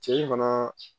Cɛ in fana